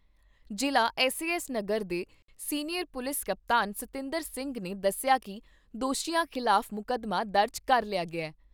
ਜ਼ਿਲ੍ਹਾ ਐੱਸਏਐੱਸ ਨਗਰ ਦੇ senior police ਕਪਤਾਨ ਸਤਿੰਦਰ ਸਿੰਘ ਨੇ ਦੱਸਿਆ ਕਿ ਦੋਸ਼ੀਆਂ ਖਿਲਾਫ ਮੁਕੱਦਮਾ ਦਰਜ ਕਰ ਲਿਆ ਗਿਆ ।